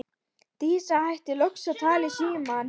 Dísa hættir loks að tala í símann.